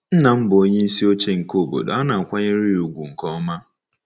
Nna m bụ onyeisi oche nke obodo a na-akwanyere ya ùgwù nke ọma.